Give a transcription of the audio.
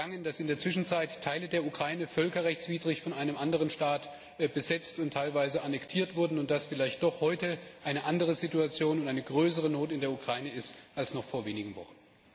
Ist Ihnen entgangen, dass in der Zwischenzeit Teile der Ukraine völkerrechtswidrig von einem anderen Staat besetzt und teilweise annektiert wurden und dass vielleicht doch heute eine andere Situation und eine größere Not in der Ukraine herrschen als noch vor wenigen Wochen?